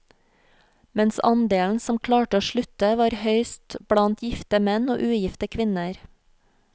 Mens andelen som klarte å slutte var høyest blant gifte menn og ugifte kvinner.